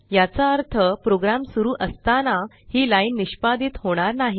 याचा अर्थ प्रोग्राम सुरू असताना ही लाइन निष्पादीत होणार नाही